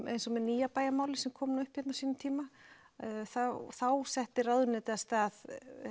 eins og með nýja bæjarmálið sem kom upp á sínum tíma þá þá setti ráðuneytið af stað